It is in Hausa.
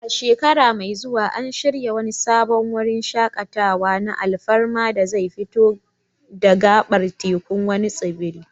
A shekara mai zuwa, an shirya wani sabon wurin shaƙatawa na alfarma da zai fito da gabar tekun wani tsibiri.